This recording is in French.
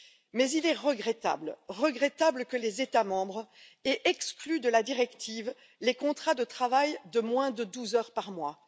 Mais il est regrettable que les États membres aient exclu de la directive les contrats de travail de moins de douze heures par mois.